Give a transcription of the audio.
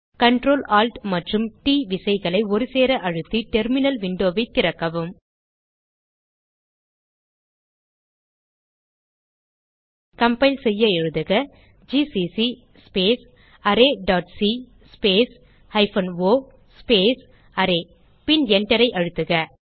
Ctrl Alt மற்றும் ட் விசைகளை ஒருசேர அழுத்தி டெர்மினல் விண்டோ ஐ திறக்கவும் கம்பைல் செய்ய எழுதுக GCC space array dot C space hyphen o array பின் Enter ஐ அழுத்துக